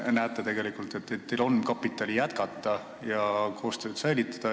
Kas te näete tegelikult, et teil on kapitali jätkata ja koostööd edasi teha?